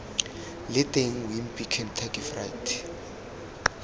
leng teng wimpy kentucky fried